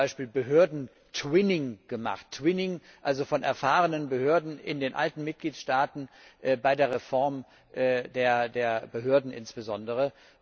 Wir haben zum Beispiel Behörden Twinning gemacht, Twinning also von erfahrenen Behörden in den alten Mitgliedstaaten, bei der Reform der Behörden insbesondere.